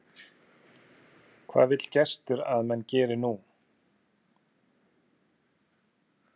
Hvað vill gestur að menn geri nú?